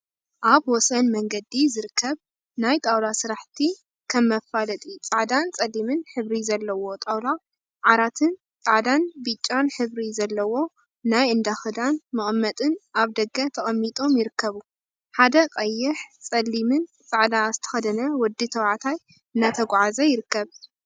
አብ ወሰን መንገዲ ዝርከብ ናይ ጣውላ ስራሕቲ ከም መፋለጢ ፃዕዳን ፀሊምን ሕብሪ ዘለዎ ጣውላ ዓራትን ፃዕዳን ብጫን ሕብሪ ዘለዎ ናይ እንዳ ክዳን መቀመጢን አብ ደገ ተቀሚጢም ይርከቡ። ሓደ ቀይሕ፣ ፀሊምን ፃዕዳ ዝተከደነ ወዲ ተባዕታይ እናተጓዓዘ ይርከብ።